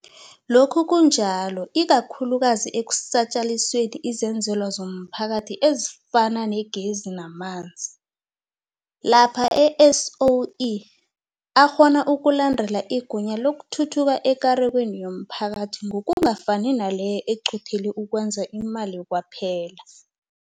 Lokhu kunjalo ikakhulukazi ekusatjalalisweni kwezenzelwa zomphakathi ezifana negezi namanzi, lapha ama-SOE akghona ukulandela igunya lokuthuthuka ekarekweni yomphakathi ngokungafani naleyo eqothele ukwenza imali kwaphela.